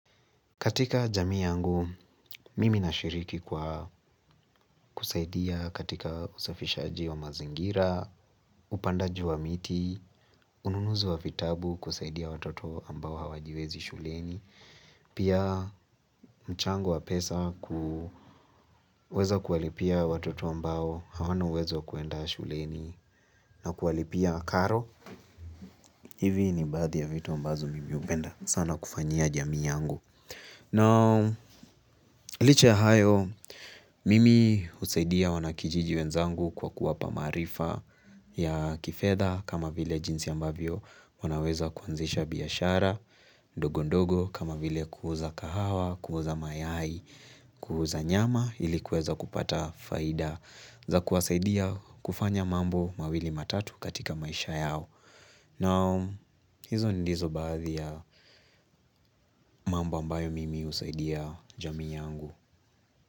Katika jami yangu, mimi na shiriki kwa kusaidia katika usafishaji wa mazingira, upandaji wa miti, ununuzi wa vitabu kusaidia watoto ambao hawajiwezi shuleni. Pia mchango wa pesa kuweza kuwalipia watoto ambao hawana uwezo kuenda shuleni na kualipia karo. Hivi ni badhi ya vitu ambazo mimi hupenda sana kufanyia jami yangu. Na liche ya hayo, mimi husaidia wanakijiji wenzangu kwa kuwapa maarifa ya kifedha kama vile jinsi ambavyo wanaweza kuanzisha biashara, dogondogo kama vile kuuza kahawa, kuuza mayai, kuuza nyama ilikuweza kupata faida za kuwasaidia kufanya mambo mawili matatu katika maisha yao. Na hizo nindizo baadhi ya mambo ambayo mimi husaidia jami yangu.